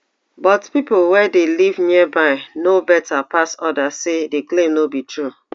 but pipo wey dey live nearby know beta pass odas say di claim no be true